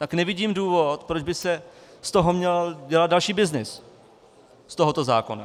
Tak nevidím důvod, proč by se z toho měl dělat další byznys, z tohoto zákona.